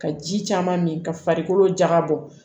Ka ji caman min ka farikolo jagabɔ